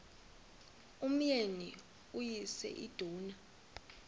umyeni uyise iduna